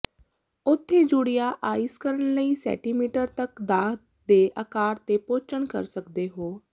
ਉੱਥੇ ਜੁੜਿਆ ਆਈਸ ਕਣ ਕਈ ਸੈਟੀਮੀਟਰ ਤੱਕ ਦਾ ਦੇ ਅਕਾਰ ਤੇ ਪਹੁੰਚਣ ਕਰ ਸਕਦੇ ਹੋ